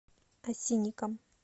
осинникам